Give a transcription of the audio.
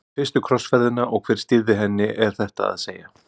Um fyrstu krossferðina og hver stýrði henni er þetta að segja.